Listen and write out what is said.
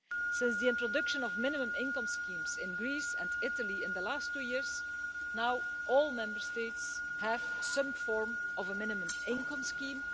Since the introduction of minimum income schemes in Greece and Italy in the last two years, now all Member States have some form of minimum income scheme.